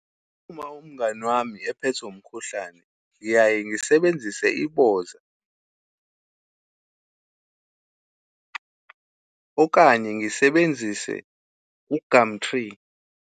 Uma umngani wami ephethwe umkhuhlane, ngiyaye ngisebenzise iboza okanye ngisebenzise u-gumtree.